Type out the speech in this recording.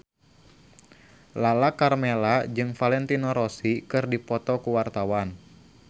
Lala Karmela jeung Valentino Rossi keur dipoto ku wartawan